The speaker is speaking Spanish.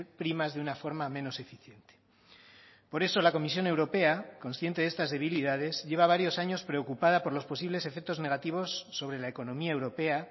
primas de una forma menos eficiente por eso la comisión europea consciente de estas debilidades lleva varios años preocupada por los posibles efectos negativos sobre la economía europea